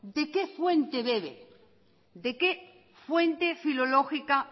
de qué fuente bebe de qué fuente filológica